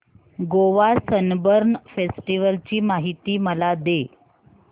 Goa Sunburn festival ची माहिती मला दे